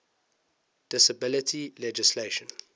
disability legislation